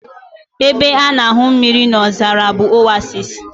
Ebe a na-ahụ mmiri n'ozara bụ Oasis